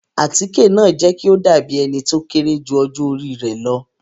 Àtike naa jẹ ki o dabi ẹni ti o kere ju ọjọ ori rẹ lọ